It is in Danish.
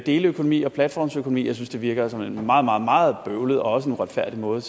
deleøkonomi og platformsøkonomi jeg synes det virker som en meget meget meget bøvlet og også en uretfærdig måde